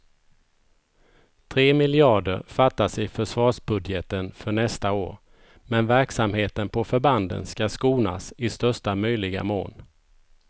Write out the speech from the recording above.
Tre miljarder fattas i försvarsbudgeten för nästa år, men verksamheten på förbanden ska skonas i största möjliga mån.